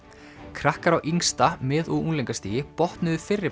krakkar á yngsta mið og unglingastigi